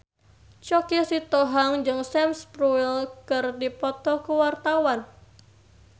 Choky Sitohang jeung Sam Spruell keur dipoto ku wartawan